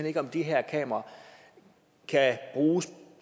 ikke om de her kameraer kan bruges